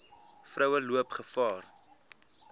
vroue loop gevaar